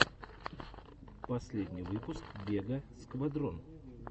последний выпуск вега сквадрон